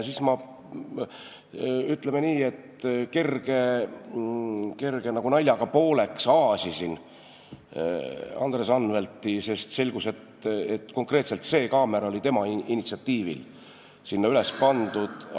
Siis ma kergelt nagu naljaga pooleks aasisin Andres Anveltit, sest selgus, et konkreetselt see kaamera oli tema initsiatiivil sinna üles pandud.